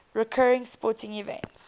recurring sporting events